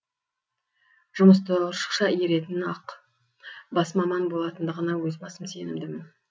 жұмысты ұршықша иіретін ақ бас маман болатындығына өз басым сенімдімін